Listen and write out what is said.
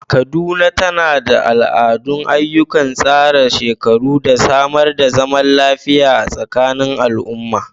Kaduna, tana da al’adar ayyukan tsarin shekaru, da samar da zaman lafiya a tsakanin al’umma.